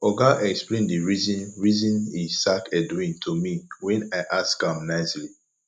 oga explain the reason reason he sack edwin to me wen i ask am nicely